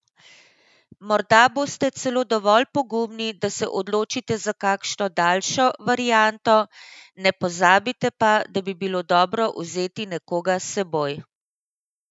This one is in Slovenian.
Morda boste celo dovolj pogumni, da se odločite za kakšno daljšo varianto, ne pozabite pa, da bi bilo dobro vzeti nekoga s seboj.